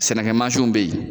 Sɛnɛkɛ mansiw be yen